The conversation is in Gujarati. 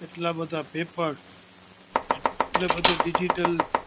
આટલા બધા પેપર આટલા બધા ડિજિટલ